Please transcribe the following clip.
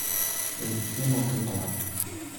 Ted chiemo kitang'